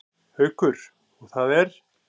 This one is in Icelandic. Haukur: Og það er?